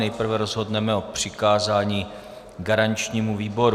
Nejprve rozhodneme o přikázání garančnímu výboru.